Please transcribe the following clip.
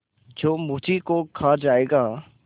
जो मुझी को खा जायगा